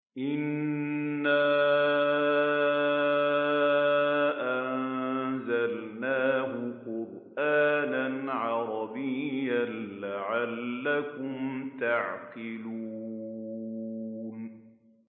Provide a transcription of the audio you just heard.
إِنَّا أَنزَلْنَاهُ قُرْآنًا عَرَبِيًّا لَّعَلَّكُمْ تَعْقِلُونَ